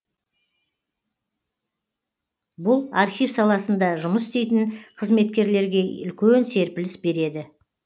бұл архив саласында жұмыс істейтін қызметкерлерге үлкен серпіліс береді